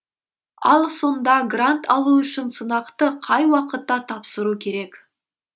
ал сонда грант алу үшін сынақты қай уақытта тапсыру керек